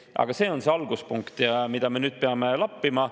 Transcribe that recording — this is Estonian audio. Aga see on alguspunkt, mida me nüüd peame lappima.